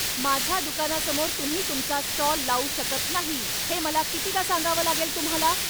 माझ्या दुकानासमोर तुम्ही तुमचा स्टॉल लावू शकत नाही हे मला कितीदा सांगावं लागेल तुम्हाला?